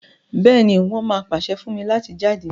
béèni, won má pase fún mí láti jáde.